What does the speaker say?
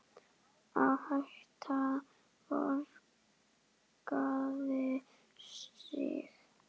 Áhættan borgaði sig.